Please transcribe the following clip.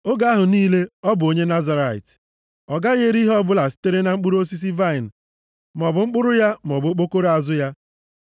Oge ahụ niile ọ bụ onye Nazirait, + 6:4 Onye e doro nsọ site na nkwa o kwere ikewapụ onwe ya nye Onyenwe anyị. ọ gaghị eri ihe ọbụla sitere na mkpụrụ osisi vaịnị maọbụ mkpụrụ ya maọbụ okpokoro azụ ya.